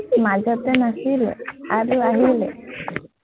মাজতে নাছিলে, আৰু আহিলে